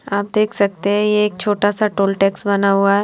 आप देख सकते है ये एक छोटा सा टॉल टैक्स बना हुआ हैं।